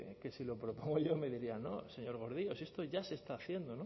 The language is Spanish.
que si lo propongo yo me dirían no señor gordillo si esto ya se está haciendo